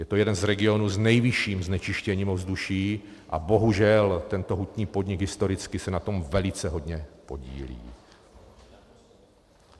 Je to jeden z regionů s nejvyšším znečištěním ovzduší a bohužel tento hutní podnik historicky se na tom velice hodně podílí.